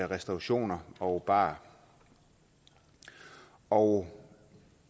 restaurationer og barer og